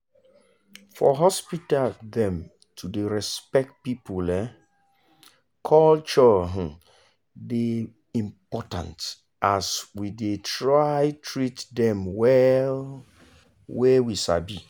for hospital dem to dey respect people um culture um dey important as we dey try treat dem well wey we sabi.